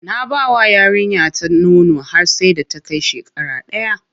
Na bawa yarinya ta nono har sai da ta kai shekara daya.